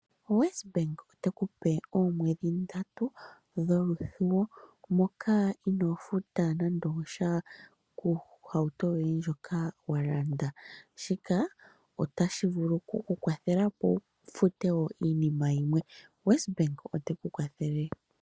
WesBank ote ku pe oomwedhi ndatu dholuthuwo moka inoo futa nande osha kohauto yoye ndjoka wa landa. Shika otashi vulu oku ku kwathela opo wu fute wo iinima yimwe. WesBank ote ku kwathele.